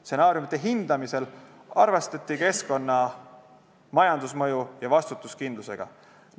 Stsenaariumide hindamisel arvestati keskkonna- ja majandusmõju ning varustuskindlusega.